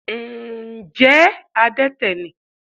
Ǹjẹ́ adẹ́tẹ̀ ni?